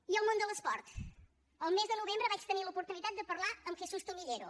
i el món de l’esport el mes de novembre vaig tenir l’oportunitat de parlar amb jesús tomillero